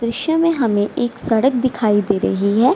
दृश्य में हमें एक सड़क दिखाई दे रही है।